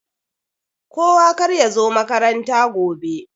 Kowa karya zo makaranta gobe.